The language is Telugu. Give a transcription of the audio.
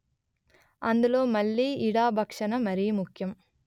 అందులో మళ్ళీ ఇడా భక్షణ మరీ ముఖ్యం